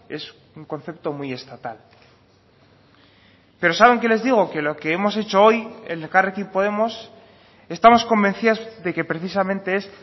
es un concepto muy estatal pero saben qué les digo que lo que hemos hecho hoy en elkarrekin podemos estamos convencidos de que precisamente es